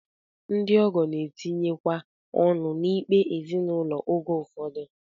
Ndị ọgọ na-etinyekwa ọnụ n'ikpe ezinụlọ oge ụfọdụ